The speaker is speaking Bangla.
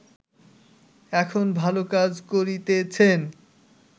এখন ভাল কাজ করিতেছেন